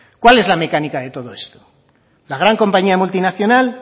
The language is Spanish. cuál es la mecánica de todo esto la gran compañía multinacional